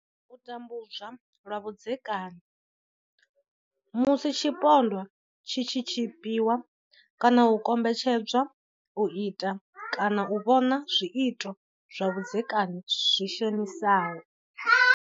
U tambudzwa lwa vhudzeka ni. Musi tshipondwa tshi tshi tshipiwa kana u kombetshedzwa u ita kana u vhona zwiito zwa vhudzekani zwi shonisaho.